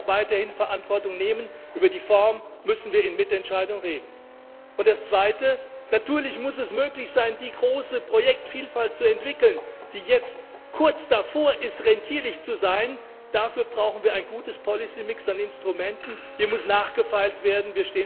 Wir werden auch weiterhin Verantwortung nehmen über die Form müssen wir in Mitentscheidung reden. Das Zweite Natürlich muss es möglich sein, die große Projektvielfalt zu entwickeln, die jetzt kurz davor ist, rentierlich zu sein. Dafür brauchen wir ein gutes Policy Mix an Instrumenten, hier muss nachgefeilt werden.